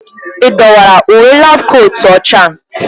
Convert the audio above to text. Ị dọwara uwe laabu kootu ọcha a.